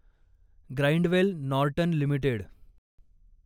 Grindwell Norton limited